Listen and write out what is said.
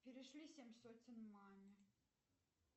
перешли семь сотен маме